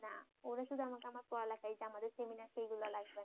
ওরা শুধু আমাকে আমর পড়ালেখাই এই যে আমাদের সেমিনারকে এইগুলা লাগবে না